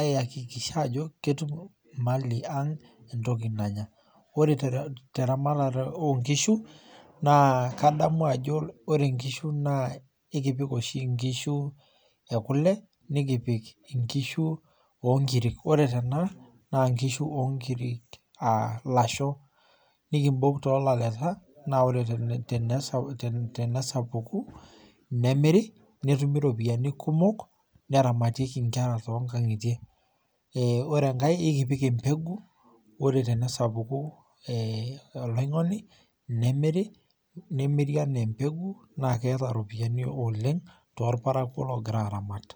aiakikishaajo ketum imali ang' entoki nanya. Ore teramatare oonkishu naa kadamu ajo ore nkishu naa ekipik oshi nkishu e kule nikipik inkishu oonkiri. Ore tena naa nkishu oonkiri [aa] lasho nikimbol toolaleta naa ore tene, tenesapuku nemiri netumi ropiani kumok neramatieki nkera toonkang'itie. Eeh ore enkae eikipik embegu ore tenesapuku [eeh] oloing'oni nemiri , nemiri anaa  embegu naakeeta ropiani oleng' toolparakuo loogira aramat.